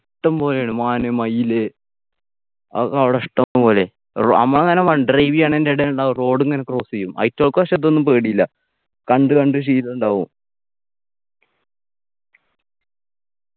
ഇഷ്ടംപോലെണ്ട് മാന് മയില് അത് ഒക്കെ അവിടെ ഇഷ്ടംപോലെ അമ്മളങ്ങന വണ്ട് drive എയ്യാനന്റെ ഇടയിലുണ്ടാകും road ങ്ങന cross എയ്യും അയ്റ്റുകൾക്ക് പക്ഷെ ഇതൊന്നും പേടിയില്ല കണ്ടു കണ്ടു ശീലുണ്ടാവും